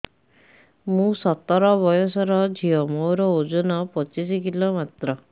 ମୁଁ ସତର ବୟସର ଝିଅ ମୋର ଓଜନ ପଚିଶି କିଲୋ ମାତ୍ର